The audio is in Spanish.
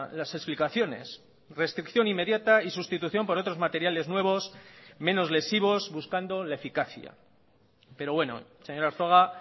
las explicaciones restricción inmediata y sustitución por otros materiales nuevos menos lesivos buscando la eficacia pero bueno señor arzuaga